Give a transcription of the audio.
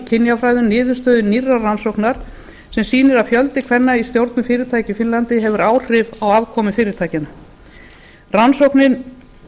kynjafræðum niðurstöðu nýrrar rannsóknar sem sýnir að fjöldi kvenna í stjórnum fyrirtækja í finnlandi hefur áhrif á afkomu fyrirtækjanna rannsóknin